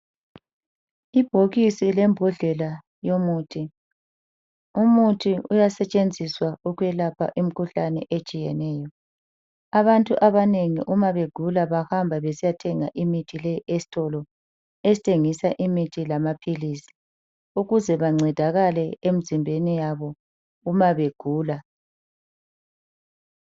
Ibhokisi lembodlela yomuthi, umuthi uyasetshenziswa ukwelapha imikhuhlane etshiyeneyo. Abantu abanengi uma begula bahamba besiyathenga imithi le esitolo esithengisa imithi lamaphilisi ukuze bancedakale emzimbeni yabo uma begula